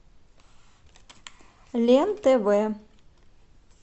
лен тв